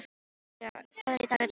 Guja, hvað er í dagatalinu mínu í dag?